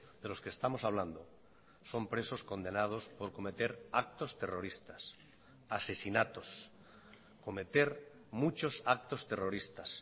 de los que estamos hablando son presos condenados por cometer actos terroristas asesinatos cometer muchos actos terroristas